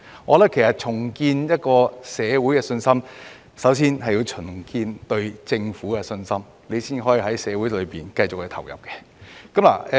我認為要重建社會信心，首先要重建社會對政府的信心，這樣才可繼續在社會投入。